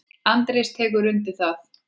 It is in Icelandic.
Andrés tekur undir það.